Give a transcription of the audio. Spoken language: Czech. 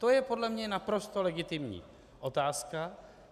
To je podle mě naprosto legitimní otázka.